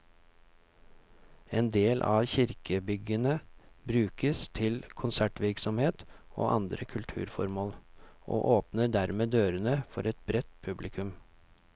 En del av kirkebyggene brukes til konsertvirksomhet og andre kulturformål, og åpner dermed dørene for et bredt publikum.